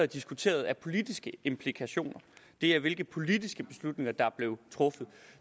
diskuteret er politiske implikationer det er hvilke politiske beslutninger der blev truffet